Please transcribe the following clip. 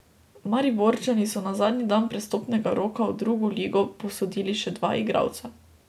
Mariborčani so na zadnji dan prestopnega roka v drugo ligo posodili še dva igralca.